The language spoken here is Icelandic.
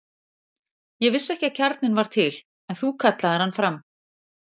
Ég vissi ekki að kjarninn var til, en þú kallaðir hann fram.